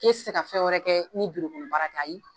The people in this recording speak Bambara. K'e ti se ka fɛn wɛrɛ kɛ ni ayi.